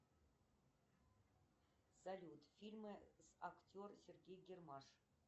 салют фильмы с актер сергей гармаш